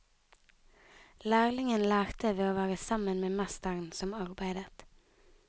Lærlingen lærte ved å være sammen med mesteren som arbeidet.